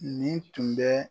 Nin tun bɛ